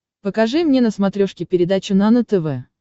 покажи мне на смотрешке передачу нано тв